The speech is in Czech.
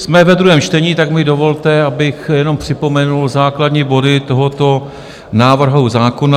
Jsme ve druhém čtení, tak mi dovolte, abych jenom připomenul základní body tohoto návrhu zákona.